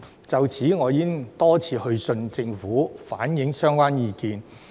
就此，我已多次去信政府，反映相關意見。